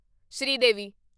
Sridevi